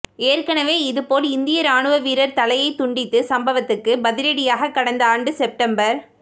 ஏற்கனவே இதுபோல் இந்திய ராணுவ வீரர் தலையை துண்டித்து சம்பவத்துக்கு பதிலடியாக கடந்த ஆண்டு செப்டம்பர்